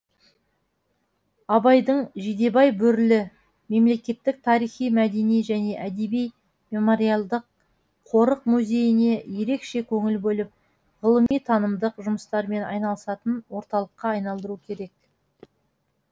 абайдың жидебай бөрілі мемлекеттік тарихи мәдени және әдеби мемориалдық қорық музейіне ерекше көңіл бөліп ғылыми танымдық жұмыстармен айналысатын орталыққа айналдыру керек